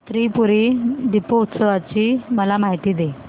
त्रिपुरी दीपोत्सवाची मला माहिती दे